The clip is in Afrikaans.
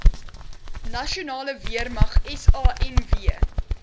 nasionale weermag sanw